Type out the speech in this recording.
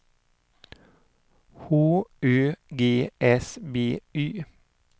H Ö G S B Y